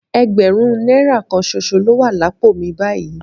Ẹgbẹ̀rún náírà kan ṣoṣo ló wà lápò mi báyìí